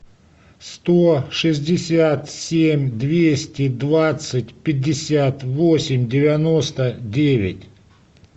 сто шестьдесят семь двести двадцать пятьдесят восемь девяносто девять